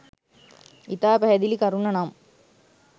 ඉතා පැහැදිලි කරුණ නම්